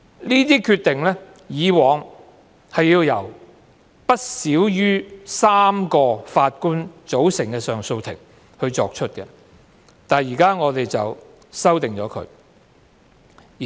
有關決定以往須由不少於3名法官組成的上訴法庭作出，但政府現在提出修訂。